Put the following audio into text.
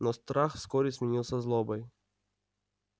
но страх вскоре сменился злобой